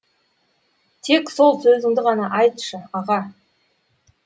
тек сол сөзіңді ғана айтшы аға